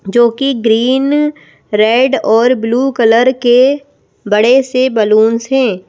जो कि green red और ब्लू कलर के बड़े से बैलूंस हैं।